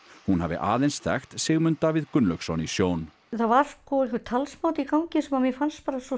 hún hafi aðeins þekkt Sigmund Davíð Gunnlaugsson í sjón það var einhver talsmáti í gangi sem mér fannst svo